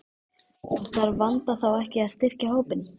En þarf Vanda þá ekki að styrkja hópinn?